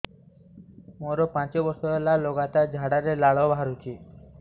ମୋରୋ ପାଞ୍ଚ ବର୍ଷ ହେଲା ଲଗାତାର ଝାଡ଼ାରେ ଲାଳ ବାହାରୁଚି